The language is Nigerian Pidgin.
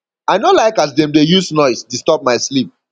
i no like as dem dey use noise disturb my sleep